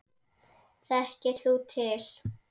Þekkir þú til?